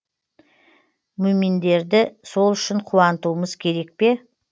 мүъминдерді сол үшін қуантуымыз керек пе